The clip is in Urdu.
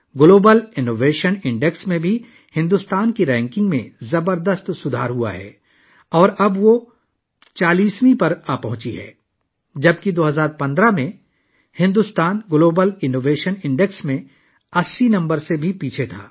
گلوبل انوویشن انڈیکس میں بھی بھارت کی رینکنگ میں زبردست بہتری آئی ہے اور اب وہ 40ویں نمبر پر پہنچ گیا ہے، جب کہ 2015 میں بھارت گلوبل انوویشن انڈیکس میں 80ویں پوزیشن سے بھی پیچھے تھا